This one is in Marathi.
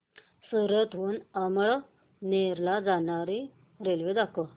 सूरत हून अमळनेर ला जाणारी रेल्वे दाखव